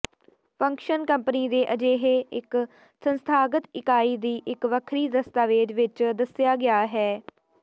function company ਦੇ ਅਜਿਹੇ ਇੱਕ ਸੰਸਥਾਗਤ ਇਕਾਈ ਦੀ ਇੱਕ ਵੱਖਰੀ ਦਸਤਾਵੇਜ਼ ਵਿੱਚ ਦੱਸਿਆ ਗਿਆ ਹੈ